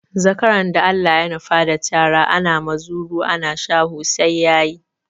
Zakaran da Allah ya nufa da cara, ana muzuru ana shaho sai ya yi.